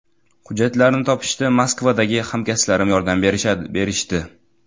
Hujjatlarni topishda Moskvadagi hamkasblarim yordam berishdi.